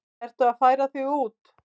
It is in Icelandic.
Ertu að færa þig út?